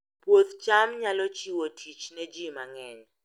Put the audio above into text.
Puoth cham nyalo chiwo tich ne ji mang'eny